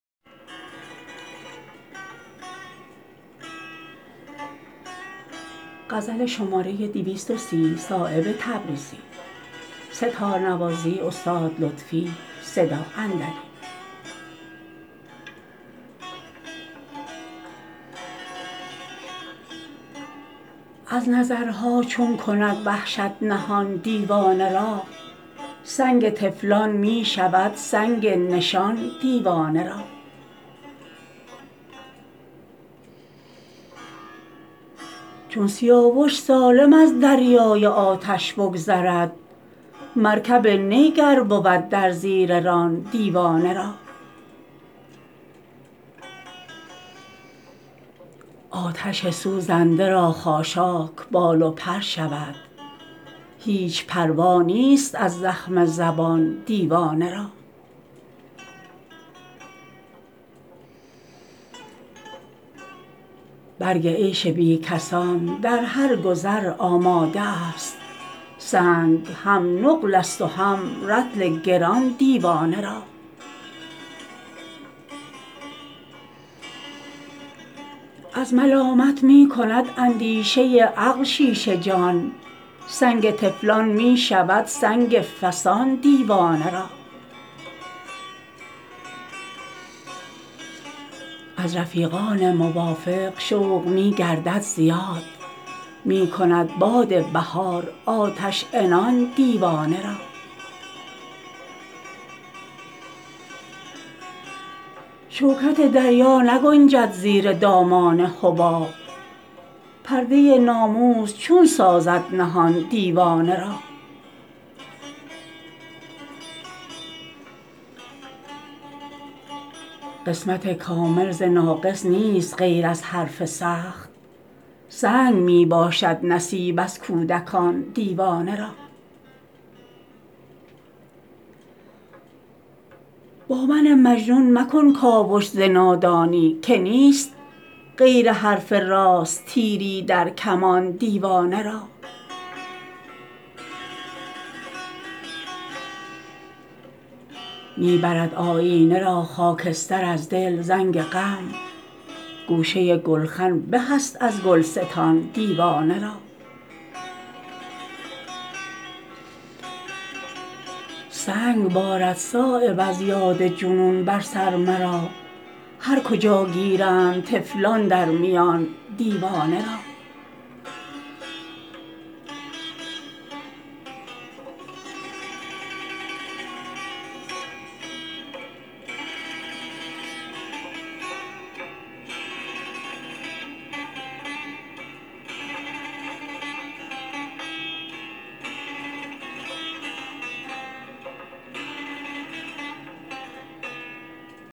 از نظرها چون کند وحشت نهان دیوانه را سنگ طفلان می شود سنگ نشان دیوانه را چون سیاوش سالم از دریای آتش بگذرد مرکب نی گر بود در زیر ران دیوانه را آتش سوزنده را خاشاک بال و پر شود هیچ پروا نیست از زخم زبان دیوانه را برگ عیش بیکسان در هر گذر آماده است سنگ هم نقل است و هم رطل گران دیوانه را از ملامت می کند اندیشه عقل شیشه جان سنگ طفلان می شود سنگ فسان دیوانه را از رفیقان موافق شوق می گردد زیاد می کند باد بهار آتش عنان دیوانه را شوکت دریا نگنجد زیر دامان حباب پرده ناموس چون سازد نهان دیوانه را قسمت کامل ز ناقص نیست غیر از حرف سخت سنگ می باشد نصیب از کودکان دیوانه را با من مجنون مکن کاوش ز نادانی که نیست غیر حرف راست تیری در کمان دیوانه را می برد آیینه را خاکستر از دل زنگ غم گوشه گلخن به است از گلستان دیوانه را سنگ بارد صایب از یاد جنون بر سر مرا هر کجا گیرند طفلان در میان دیوانه را